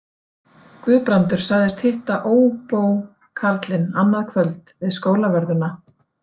Guðbrandur sagðist hitta óbókarlinn annað kvöld við Skólavörðuna.